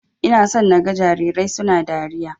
Ina so naga jarirai suna dariya.